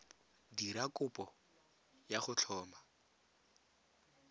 dira kopo ya go tlhoma